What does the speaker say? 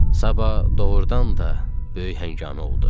Sabah doğrudan da böyük həngamə oldu.